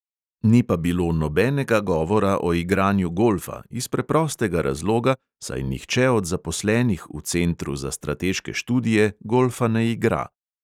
Ni pa bilo nobenega govora o igranju golfa, iz preprostega razloga, saj nihče od zaposlenih v centru za strateške študije golfa ne igra.